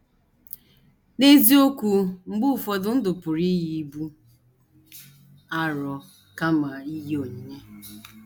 N’eziokwu,, mgbe ụfọdụ ndụ pụrụ iyi ibu arọ kama iyi onyinye.